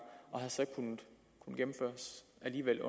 og har så alligevel